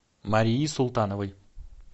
марии султановой